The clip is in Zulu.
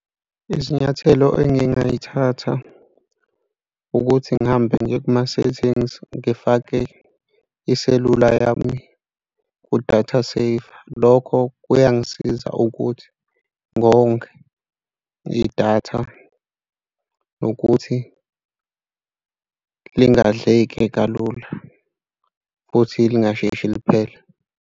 Izinyathelo engingay'thatha ukuthi ngihambe ngiye kuma-settings ngifake iselula yami ku-data saver. Lokho kuyangisiza ukuthi ngonge idatha nokuthi lingadleki kalula futhi lingasheshi liphele.